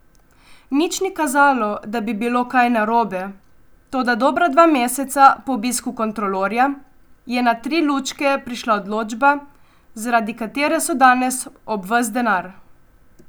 Nič ni kazalo, da bi bilo kaj narobe, toda dobra dva meseca po obisku kontrolorja je na Tri lučke prišla odločba, zaradi katere so danes ob ves denar.